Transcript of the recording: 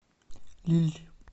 лилль